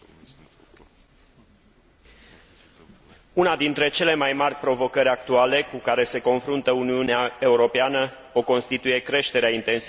Una dintre cele mai mari provocări actuale cu care se confruntă Uniunea Europeană o constituie creșterea intensității și a consecințelor dezastrelor naturale.